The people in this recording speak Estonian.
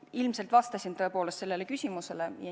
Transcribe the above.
Ma ilmselt vastasin tõepoolest sellele küsimusele.